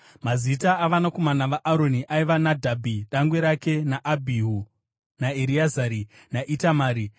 Mazita avanakomana vaAroni aiva Nadhabhi dangwe rake, naAbhihu, naEreazari naItamari.